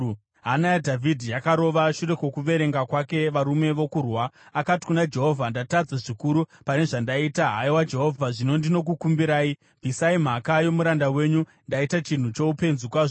Hana yaDhavhidhi yakarova shure kwokuverenga kwake varume vokurwa, akati kuna Jehovha, “Ndatadza zvikuru pane zvandaita. Haiwa Jehovha, zvino ndinokukumbirai, bvisa mhaka yomuranda wenyu. Ndaita chinhu choupenzi kwazvo.”